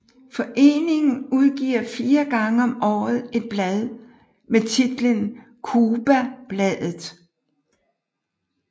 Foreningen udgiver fire gange om året et blad med titlen Cubabladet